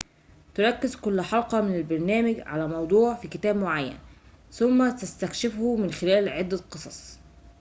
تركز كل حلقة من البرنامج على موضوع في كتاب معين ثم تستكشفه من خلال عدة قصص